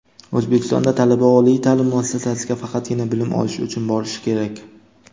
O‘zbekistonda talaba oliy ta’lim muassasasiga faqatgina bilim olish uchun borishi kerak.